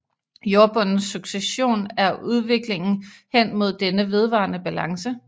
Jordbundens succession er udviklingen hen mod denne vedvarende balance